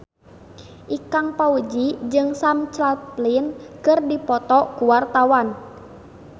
Ikang Fawzi jeung Sam Claflin keur dipoto ku wartawan